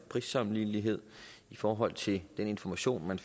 prissammenlignelighed i forhold til den information man